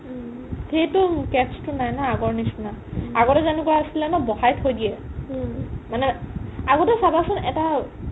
উম সেইটো catch টো নাই ন আগৰ নিচিনা আগতে জেনেকুৱা আছিলে ন বহাই থই দিয়ে মানে আগতে চাবাচোন এটা